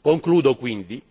Concludo quindi